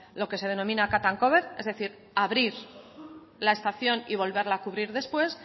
lo que se denomina cut and cover es decir abrir la estación y volverla a cubrir después